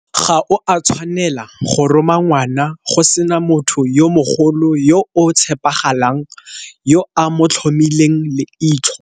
Ga o a tshwanela go roma ngwana go sena motho yo mogolo yo o tshepagalang yo a mo tlhomileng leitlho.